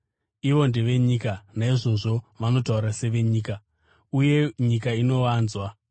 Ivo ndevenyika, naizvozvo vanotaura sevenyika, uye nyika inovanzwa.